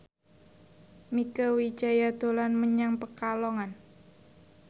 Mieke Wijaya dolan menyang Pekalongan